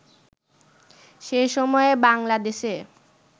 সে সময়ে বাঙলা দেশে